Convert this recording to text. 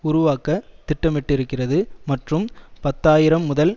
உருவாக்க திட்டமிட்டிருக்கிறது மற்றும் பத்து ஆயிரம் முதல்